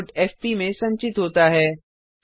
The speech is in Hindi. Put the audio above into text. आउटपुट एफपी में संचित होता है